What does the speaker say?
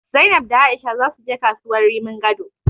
Zainab da A'isha zasu je kasuwar Rimin Gado.